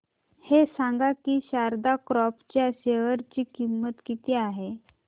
हे सांगा की शारदा क्रॉप च्या शेअर ची किंमत किती आहे